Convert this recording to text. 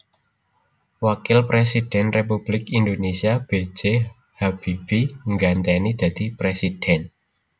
Wakil Prèsidhèn Républik Indonésia B J Habibie nggantèni dadi Prèsidhèn